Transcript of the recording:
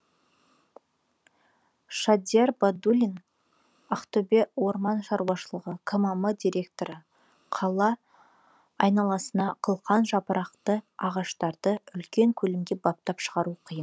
шадияр байдуллин ақтөбе орман шаруашылығы кмм директоры қала айналасына қылқан жапырақты ағаштарды үлкен көлемде баптап шығару қиын